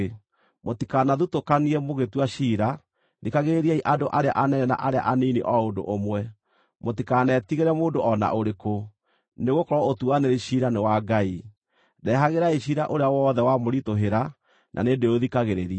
Mũtikanathutũkanie mũgĩtua ciira; thikagĩrĩriai andũ arĩa anene na arĩa anini o ũndũ ũmwe. Mũtikanetigĩre mũndũ o na ũrĩkũ, nĩgũkorwo ũtuanĩri ciira nĩ wa Ngai. Ndehagĩrai ciira ũrĩa wothe wamũritũhĩra, na nĩndĩũthikagĩrĩria.